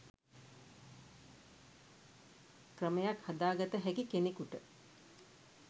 ක්‍රමයක් හදා ගත හැකි කෙනෙකුට